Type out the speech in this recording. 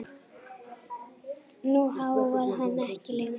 Nú háfar hann ekki lengur.